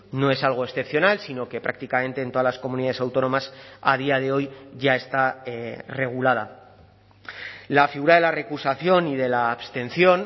no es algo excepcional sino que prácticamente en todas las comunidades autónomas a día de hoy ya está regulada la figura de la recusación y de la abstención